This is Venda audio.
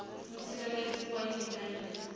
mutsireledzi wa nnyi na nnyi